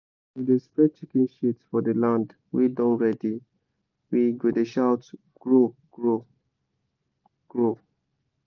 as we dey spread chicken shit for the land wey don ready we go dey shout “grow grow grow!”